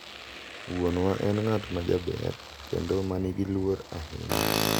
Wuonwa en ng’at ma jaber kendo ma nigi luor ahinya.